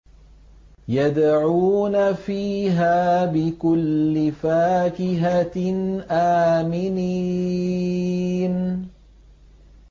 يَدْعُونَ فِيهَا بِكُلِّ فَاكِهَةٍ آمِنِينَ